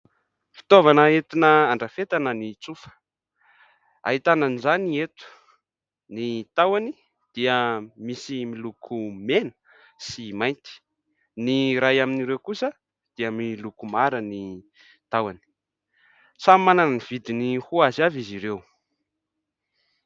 Fitaovana entina handrafetana ny tsofa, ahitana an'izany eto, ny tahony dia misy miloko mena sy mainty, ny iray amin'ireo kosa dia miloko mara ny tahony, samy manana ny vidiny ho azy avy izy ireo.